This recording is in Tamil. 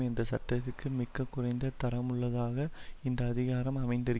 என்ற சட்டத்திற்கு மிக்கக் குறைந்த தரமுள்ளதாக இந்த அதிகாரம் அமைந்திரு